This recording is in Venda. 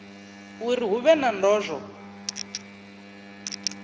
uri hu vhe na ndozwo